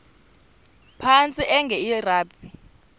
phantsi enge lrabi